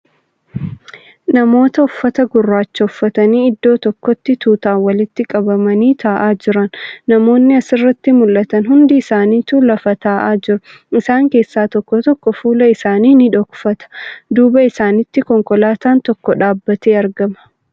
Namoota uffata gurraacha uffatanii iddoo tokkotti tuutaan walitti qabamanii taa'aa jiran. Namoonni asirratti mul'atan hundi isaanituu lafa taa'aa jiru. Isaan keessa tokko tokko fuula isaa ni dhokfata. Duuba isaanitti konkolaataan tokko dhaabbatee argama.